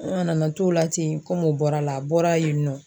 An nana na t'o la ten o bɔra la, a bɔla yen nɔ.